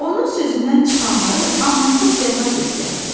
Onun sözündən çıxanları amansız cəza gözləyirdi.